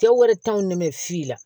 Cɛ wɛrɛ ne bɛ si la